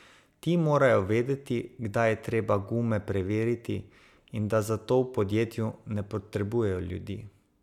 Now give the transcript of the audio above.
Ti morajo vedeti, kdaj je treba gume preveriti in da za to v podjetju ne potrebujejo ljudi.